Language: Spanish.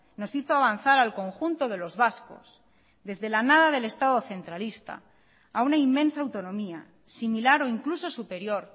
nos hizo avanzar al conjunto de los vascos desde la nada del estado centralista a una inmensa autonomía similar o incluso superior